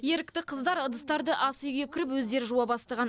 ерікті қыздар ыдыстарды асүйге кіріп өздері жуа бастаған